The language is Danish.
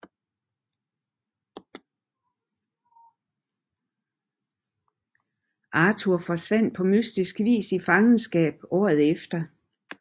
Arthur forsvandt på mystisk vis i fangenskab året efter